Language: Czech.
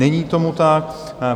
Není tomu tak.